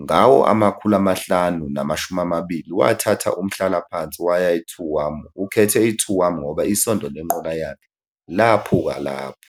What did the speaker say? Ngawo-520s, wathatha umhlalaphansi waya eTuam. Ukhethe uTuam ngoba isondo lenqola yakhe laphuka lapho.